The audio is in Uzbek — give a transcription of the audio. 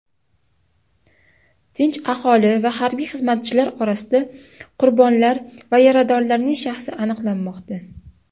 tinch aholi va harbiy xizmatchilar orasida qurbonlar va yaradorlarning shaxsi aniqlanmoqda.